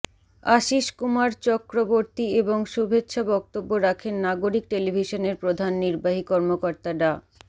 আশীষ কুমার চক্রবর্তী এবং শুভেচ্ছা বক্তব্য রাখেন নাগরিক টেলিভিশনের প্রধান নির্বাহী কর্মকর্তা ডা